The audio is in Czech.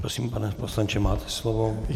Prosím, pane poslanče, máte slovo.